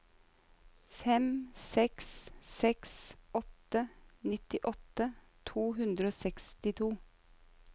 fem seks seks åtte nittiåtte to hundre og sekstito